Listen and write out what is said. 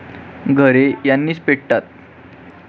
घरे यांनीच पेटतात.